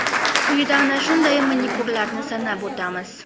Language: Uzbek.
Quyida ana shunday manikyurlarni sanab o‘tamiz.